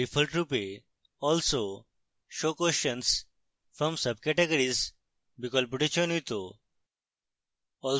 ডিফল্টরূপে also show questions from subcategories বিকল্পটি চয়নিত